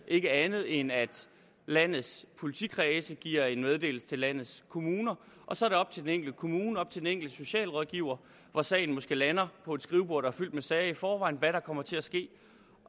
andet end at landets politikredse giver en meddelelse til landets kommuner og så er det op til den enkelte kommune og den enkelte socialrådgiver hvor sagen måske lander på et skrivebord der er fyldt med sager i forvejen hvad der kommer til at ske